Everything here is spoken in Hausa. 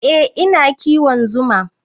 Eh, ina kiwon zuma.